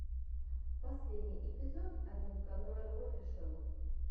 последний эпизод одинвканоеофишэл